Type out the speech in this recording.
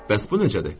Bəs bu necədir?